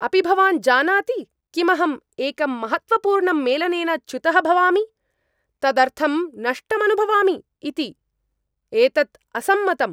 अपि भवान् जानाति किमहं एकं महत्त्वपूर्णम् मेलनेन च्युतः भवामि, तदर्थं नष्टमनुभवामि इति? एतत् असम्मतम्।